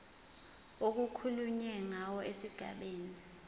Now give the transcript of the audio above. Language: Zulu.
okukhulunywe ngawo esigabeni